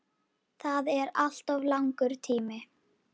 Það er alltof langur tími.